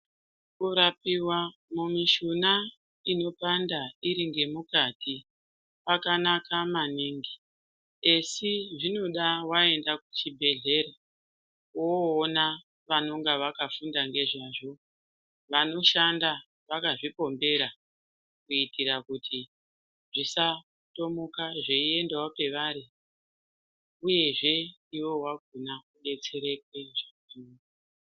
Kurapiwa mishuna inopanda iringemukati kwakanaka maningi ASI zvinoda .Wanda kuchibhehleya vanonga vakafunda ngezvazvo vanoshanda vakazvipombera kuitira kuti zvisatomuka zveiendawo kwavari uyezve iwewe wakona udetsereke.